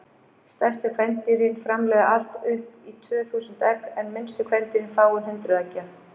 Stærstu kvendýrin framleiða allt upp í tvö þúsund egg en minnstu kvendýrin fáein hundruð eggja.